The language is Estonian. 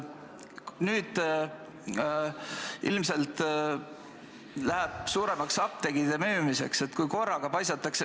Nüüd ilmselt läheb suuremaks apteekide müümiseks.